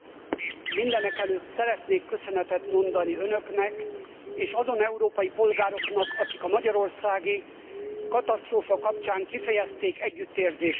Mindenekelőtt szeretnék köszönetet mondani Önöknek, és azon európai polgároknak, akik a magyarországi katasztrófa kapcsán kifejezték együttérzésüket.